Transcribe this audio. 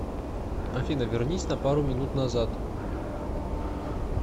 афина вернись на пару минут назад